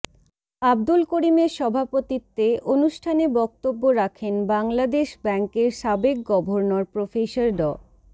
আবদুল করিমের সভাপতিত্বে অনুষ্ঠানে বক্তব্য রাখেন বাংলাদেশ ব্যাংকের সাবেক গভর্নর প্রফেসর ড